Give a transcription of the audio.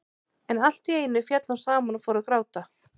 En allt í einu féll hún saman og fór að gráta.